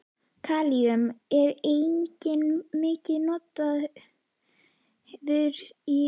Kalíum er einnig mikið notað í iðnaði.